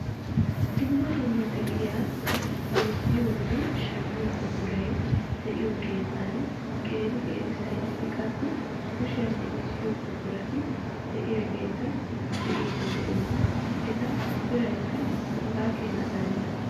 Dumma dumma de'iyaa bayzziyoonne shammiyoo buquray de'iyoo keettan qeeri qeeri sayneti qassi kushiyaa mecisiyoo buqurati de'iyaageta be'iidi de'oos. eta biraykka hegaa keeni darenna.